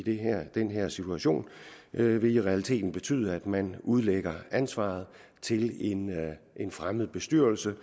den her situation vil i realiteten betyde at man udlægger ansvaret til en fremmed bestyrelse